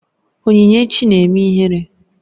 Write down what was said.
Onyinyechi na-eme ihere